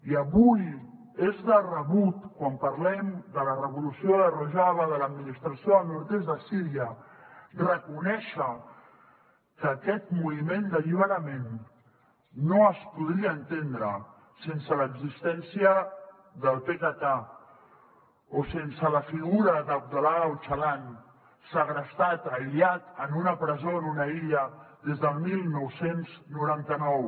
i avui és de rebut quan parlem de la revolució de rojava de l’administració del nord est de síria reconèixer que aquest moviment d’alliberament no es podria entendre sense l’existència del pkk o sense la figura de abdullah öcalan segrestat aïllat en una presó en una illa des del dinou noranta nou